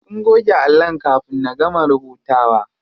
Sun goge allon kafin na gama rubutawa.